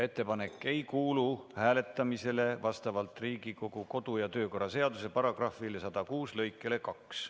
Ettepanek ei kuulu hääletamisele vastavalt Riigikogu kodu‑ ja töökorra seaduse § 106 lõikele 2.